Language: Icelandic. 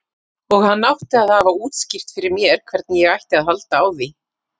Og hann átti að hafa útskýrt fyrir mér hvernig ég ætti að halda á því.